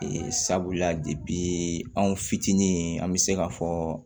sabula anw fitinin an be se ka fɔ